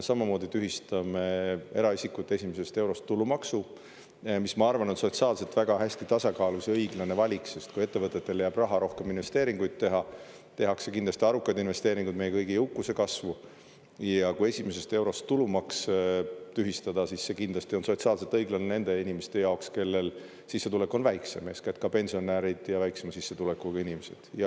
Samamoodi tühistame eraisikute esimesest eurost tulumaksu, mis, ma arvan, on sotsiaalselt väga hästi tasakaalus ja õiglane valik, sest kui ettevõtetele jääb raha rohkem investeeringuid teha, tehakse kindlasti arukaid investeeringuid meie kõigi jõukuse kasvu, ja kui esimesest eurost tulumaks tühistada, siis see kindlasti on sotsiaalselt õiglane nende inimeste jaoks, kellel sissetulek on väiksem, eeskätt ka pensionärid ja väiksema sissetulekuga inimesed.